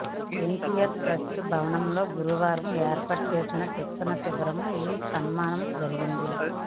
NTR trust భవనంలో గురువారం ఏర్పాటు చేసిన శిక్షణ శిబిరంలో ఈ సన్మానం జరిగింది